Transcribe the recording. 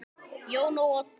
Jón og Oddur.